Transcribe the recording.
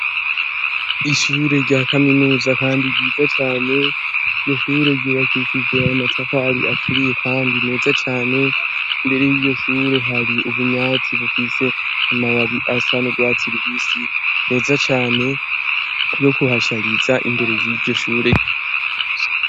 Ishure rya kaminuza kandi ryiza cane; Iryo shure ryubakishije amatafari aturiye kandi meza cane. Imbere y'iryo shure hari ubunyatsi bufise amababi asa n'urwatsi rubisi meza cane yo kuhashariza imbere y'iryo shure.